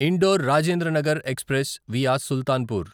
indoor Rajendranagar express via Sultanpur